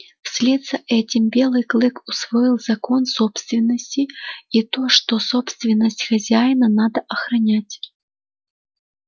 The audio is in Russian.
вслед за этим белый клык усвоил закон собственности и то что собственность хозяина надо охранять